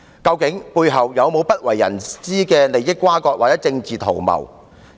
究竟背後是否有不為人知的利益轇轕或政治圖謀？